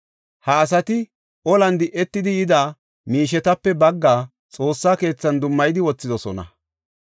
Ha asati olan di7etidi yida miishetape baggaa Xoossa keethan dummayidi wothidosona.